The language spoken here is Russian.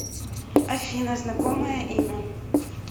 афина знакомое имя